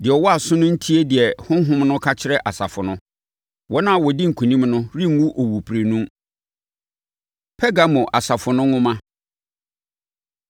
Deɛ ɔwɔ aso no ntie deɛ Honhom no ka kyerɛ asafo no. Wɔn a wɔdi nkonim no renwu owuprenu. Pergamo Asafo No Nwoma